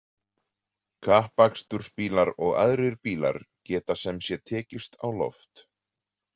Kappakstursbílar og aðrir bílar geta sem sé tekist á loft.